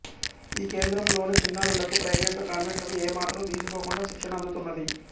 ఈ కేంద్రంలోని చిన్నారులకు ప్రైవేటు కాన్వెంట్లకు ఏ మాత్రం తీసిపోకుండా శిక్షణ అందుతున్నది